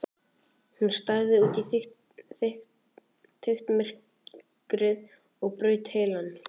Hún starði út í þykkt myrkrið og braut heilann.